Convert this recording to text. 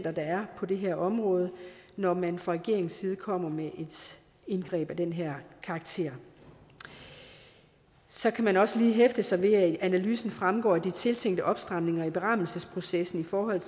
er på det her område når man fra regeringens side kommer med et indgreb af den her karakter så kan man også lige hæfte sig ved at det i analysen fremgår at de tiltænkte opstramninger i berammelsesprocessen i forhold